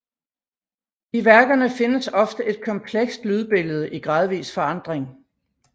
I værkerne findes ofte et komplekst lydbillede i gradvis forandring